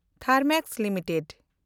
Thermax limited